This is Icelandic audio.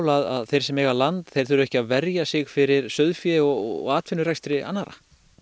að þeir sem eiga land þurfi ekki að verja sig fyrir sauðfé og atvinnurekstri annarra